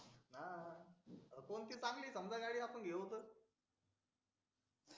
हा कोणती गाडी चांगली आहे समजा आपण गाडी घेऊ तर